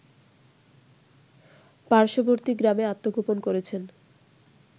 পার্শ্ববর্তী গ্রামে আত্মগোপন করেছেন